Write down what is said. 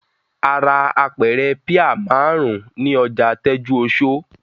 A ra apẹ̀rẹ̀ píà márùn-ún ní ọjà Tẹ́júoṣó.